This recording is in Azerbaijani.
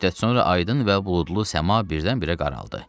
Bir müddət sonra aydın və buludlu səma birdən-birə qaraldı.